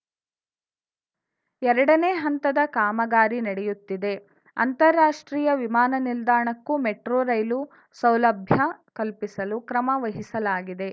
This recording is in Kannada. ಎರಡನೇ ಹಂತದ ಕಾಮಗಾರಿ ನಡೆಯುತ್ತಿದೆ ಅಂತಾರಾಷ್ಟ್ರೀಯ ವಿಮಾನ ನಿಲ್ದಾಣಕ್ಕೂ ಮೆಟ್ರೋ ರೈಲು ಸೌಲಭ್ಯ ಕಲ್ಪಿಸಲು ಕ್ರಮ ವಹಿಸಲಾಗಿದೆ